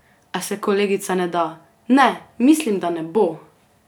A se kolegica ne da: "Ne, mislim, da ne bo.